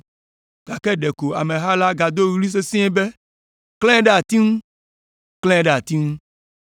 Gake ɖeko ameha la gado ɣli sesĩe wu be, “Klãe ɖe ati ŋu! Klãe ɖe ati ŋu!”